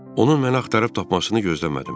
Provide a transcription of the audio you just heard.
Onu mən axtarıb tapmasını gözləmədim.